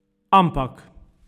Ampak!